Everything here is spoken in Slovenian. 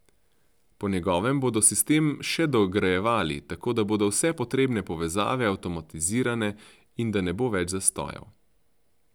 Po njegovem bodo sistem še dograjevali, tako da bodo vse potrebne povezave avtomatizirane in da ne bo več zastojev.